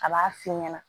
A b'a f'i ɲɛna